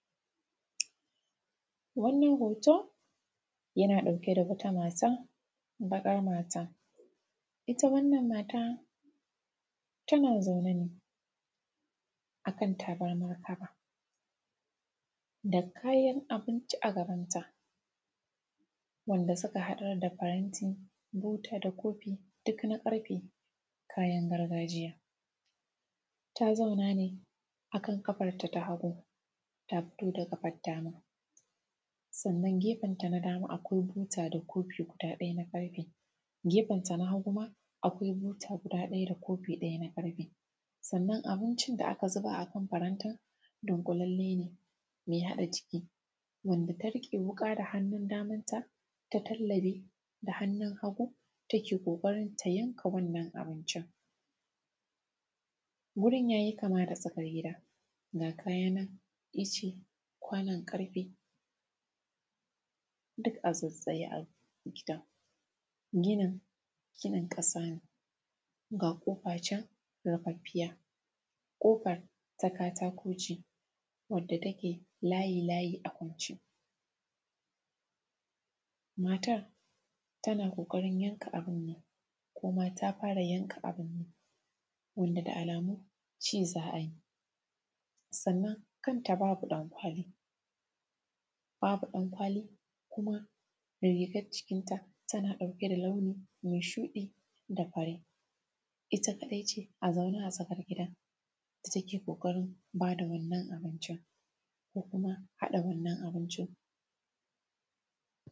Wannan hoto yana ɗauke da wata mata baƙa mata, ita wannan mata tana zaune akan tabarma da kayan abinci a gabanta wanda suka haɗa da kayan ti da kofi duk na ƙarfe, kayan gargajiya ta zauna ne akan ƙafanta na hagu ta miƙar da ƙafan dama sannan gefen ta nadama akwai kofi, guda ɗaya na ƙarfe a gefenta na hagu akwai buta da kofi ɗaya na ƙarfe. Sannan abincin da aka zuba a farantin gabanka dunƙulalle ne me haɗa ciki, wanda ta riƙe wuƙa da hannun damanta, ta tallabe da hannun hagu, tana ƙoƙarin ta yanka wannan abincin, wurin ya yi kama da tsakar gida, ga kayan nan in ce kwannan ƙarfe duk a tsatstsaye a gidan. Gidan ginin ƙasa ne ga ƙofa ce rifaffiya, ƙofan ta katako ne wanda take layi-layi ne a kwance, matar tana ƙoƙarin yanka abun ne koma ta fara yankawa wanda da alamu ci za a yi. Sannan kanta babu ɗankwali kuma da rigan jikinta tana ɗauke da launi me shuɗi da fure, ita kaɗai ce a zaune a tsakar gidan take ƙoƙarin ba da wannan abincin ko kuma haɗa wannan abincin.